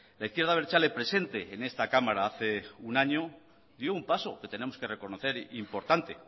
la izquierda abertzale presente en esta cámara hace un año dio un paso que tenemos que reconocer importante